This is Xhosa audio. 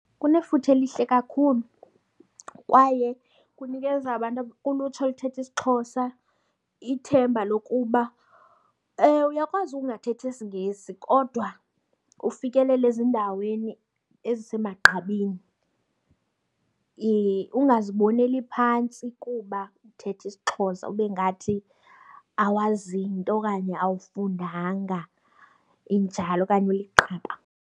Kunefuthe elihle kakhulu kwaye kunikeza abantu kulutsha oluthetha isiXhosa ithemba lokuba uyakwazi ukungathethi isiNgesi kodwa ufikelele ezindaweni ezisemagqabini. Ungaziboneli phantsi kuba uthetha isiXhosa ube ngathi awazi nto okanye awufundanga, injalo okanye uliqaba.